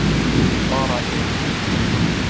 Bara ein!